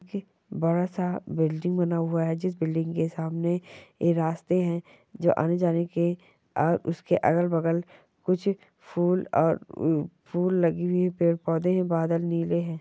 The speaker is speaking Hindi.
ये बड़ा सा बिल्डिंग बना हुआ है जिस बिल्डिंग के सामने ये रास्ते है जो आने जाने के और उसके अगल-बगल कुछ फूल और फूल लगी हुई पेड़ पोधे है बादल नीले है।